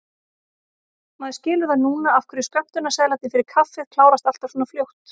Maður skilur það núna af hverju skömmtunarseðlarnir fyrir kaffið klárast alltaf svona fljótt!